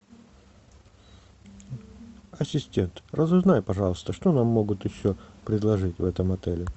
ассистент разузнай пожалуйста что нам могут еще предложить в этом отеле